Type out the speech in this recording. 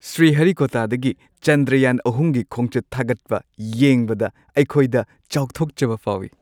ꯁ꯭ꯔꯤꯍꯔꯤꯀꯣꯇꯥꯗꯒꯤ ꯆꯟꯗ꯭ꯔꯌꯥꯟ-꯳ꯒꯤ ꯈꯣꯡꯆꯠ ꯊꯥꯒꯠꯄ ꯌꯦꯡꯕꯗ ꯑꯩꯈꯣꯏꯗ ꯆꯥꯎꯊꯣꯛꯆꯕ ꯐꯥꯎꯋꯤ ꯫